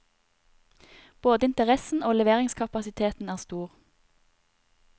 Både interessen og leveringskapasiteten er stor.